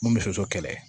Mun bɛ soso kɛlɛ